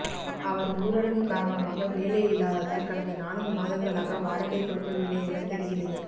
அவர் ஊரடங்கு காரணமாக வேலை இல்லாததால் கடந்த நான்கு மாதங்களாக வாடகை கொடுக்க வில்லை என தெரிகிறது